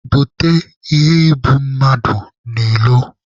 Bupute iheibummadụ n'ilo!